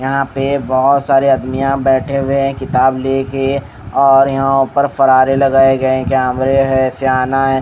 यहाँ पे बहुत सारे आदमियाँ बैठे हुए हैं किताब ले के और यहाँ पर फरारे लगाए गए हैं कैमरे हैं स्याना है।